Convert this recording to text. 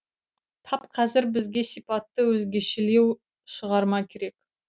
тап қазір бізге сипаты өзгешелеу шығарма керек